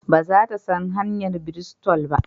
Ba za ta san hanyar Bristol ba?